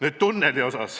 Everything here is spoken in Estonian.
Nüüd tunnelist.